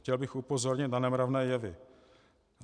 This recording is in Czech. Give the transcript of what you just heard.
Chtěl bych upozornit na nemravné jevy.